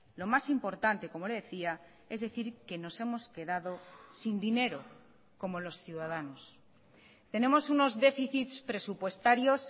lo más importante como le decía es decir que nos hemos quedado sin dinero como los ciudadanos tenemos unos déficits presupuestarios